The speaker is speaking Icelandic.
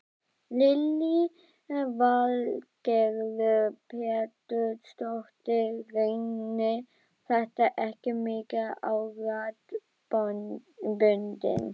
Lillý Valgerður Pétursdóttir: Reynir þetta ekki mikið á raddböndin?